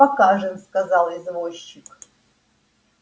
покажем сказал извозчик